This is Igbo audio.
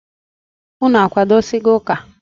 Unu akwadosigo ụka?